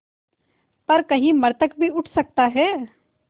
पर कहीं मृतक भी उठ सकता है